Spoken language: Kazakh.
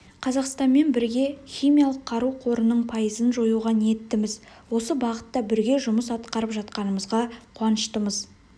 қазақстанмен бірге химиялық қару қорының пайызын жоюға ниеттіміз осы бағытта бірге жұмыс атқарып жатқанымзға қуаныштымыз